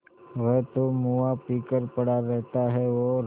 वह तो मुआ पी कर पड़ा रहता है और